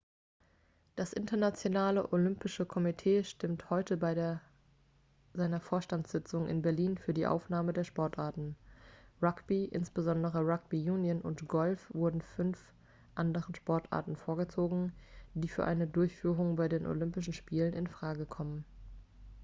das internationale olympische komitee stimmte heute bei seiner vorstandssitzung in berlin für die aufnahme der sportarten rugby insbesondere rugby union und golf wurden fünf anderen sportarten vorgezogen die für eine durchführung bei den olympischen spielen in frage kommen